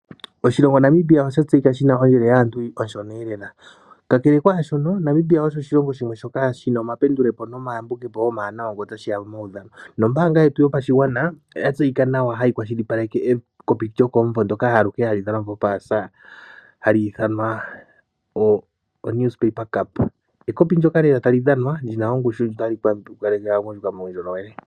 Oahilongo Namibia osha tsejika shina ondjelo yaantu onshona lela kakele kwaaahona Namibia osho oshilongo shoka shina omapendulopo nomayambidhidho omawanawa ngele otashiya pomaudhano . Ombaanga yegu yopashigwana oyatseyika nawa hayi kwashilipaleke ekopi lyokomumvo ndoka hli dhanwa po paasa